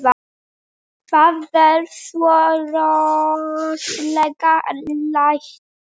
Það verða svo rosaleg læti.